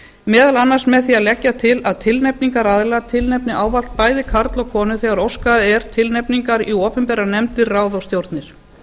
meðal annars með því að leggja til að tilnefningaraðilar tilnefni ávallt bæði karl og konu þegar óskað er tilnefningar í opinberar nefndir ráð og stjórnir